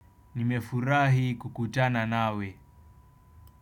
Nimefurahi kukutana nawe.